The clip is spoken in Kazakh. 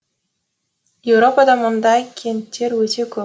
еуропада мұндай кенттер өте көп